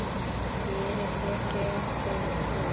Gerirðu þér grein fyrir því?